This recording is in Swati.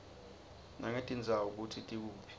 nangetindzawo kutsi tikuphi